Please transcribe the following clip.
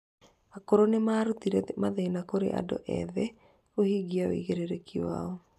Akũrũ nĩ marutire mathĩna kũrĩ andũ ethĩ kũhingia wĩigĩrĩrĩki wao.